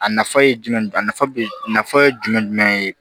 A nafa ye jumɛn a nafa be nafa ye jumɛn ye